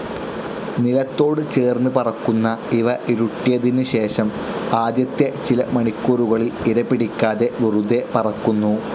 നിലത്തോട് ചേർന്ന് പറക്കുന്ന ഇവ ഇരുട്ടിയതിനു ശേഷം ആദ്യത്തെ ചില മണിക്കൂറുകളിൽ ഇരപിടിക്കാതെ വെറുതെ പറക്കുന്നു.